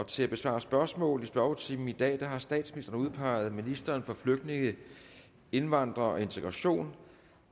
til at besvare spørgsmål i spørgetimen i dag har statsministeren udpeget ministeren for flygtninge indvandrere og integration